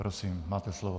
Prosím, máte slovo.